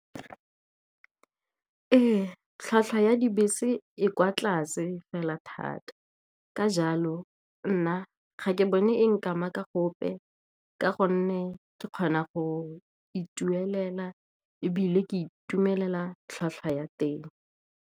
Ee, tlhwatlhwa ya dibese e kwa tlase fela thata. Ka jalo nna ga ke bone e nkama ka gope, ka gonne ke kgona go itumelela, ebile ke itumelela tlhwatlhwa ya teng.